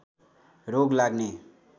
रोग लाग्ने